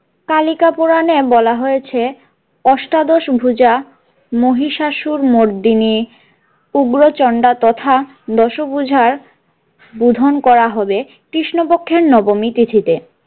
কালিকা পুরানে বলা হয়েছে অষ্টাদশ ভূজা মহিষাসুর মর্দিনী উগ্রচণ্ডা তথা দশভূজার বোধন করা হবে কৃষ্ণপক্ষের নবমী তিথিতে।